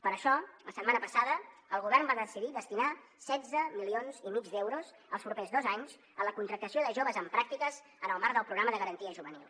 per això la setmana passada el govern va decidir destinar setze milions i mig d’euros els propers dos anys a la contractació de joves en pràctiques en el marc del programa de garantia juvenil